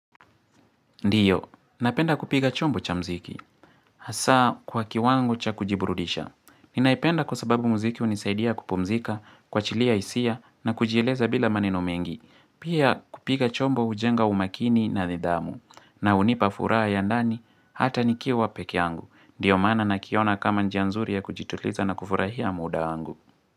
Ndiyo, napenda kupiga chombo cha mziki, hasaa kwa kiwangu cha kujiburudisha. Ninaipenda kwa sababu mziki hunisaidia kupumzika, kuwachilia hisia, na kujieleza bila maneno mengi. Pia kupiga chombo hujenga umakini na nidhamu, na hunipa furaha ya ndani, hata nikiwa pekeangu. Ndiyo maana nakiona kama njia nzuri ya kujituliza na kufurahia muda angu.